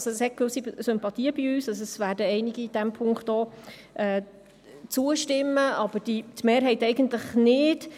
Es werden diesem Punkt auch einige zustimmen, aber die Mehrheit eigentlich nicht.